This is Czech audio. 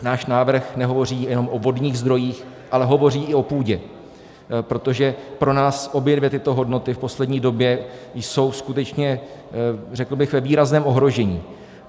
Náš návrh nehovoří jenom o vodních zdrojích, ale hovoří i o půdě, protože pro nás obě dvě tyto hodnoty v poslední době jsou skutečně, řekl bych, ve výrazném ohrožení.